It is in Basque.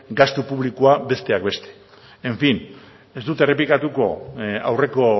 gastu publikoa besteak beste en fin ez dut errepikatuko aurreko